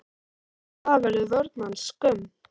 Eftir það verður vörn hans skömm.